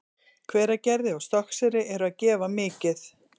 Hveragerði og Stokkseyri eru að gefa mikið.